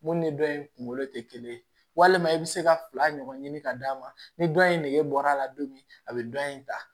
Mun ni dɔ in kunkolo tɛ kelen ye walima i bɛ se ka fila ɲɔgɔn ɲini ka d'a ma ni dɔ in nege bɔra a la don min a bɛ dɔ in ta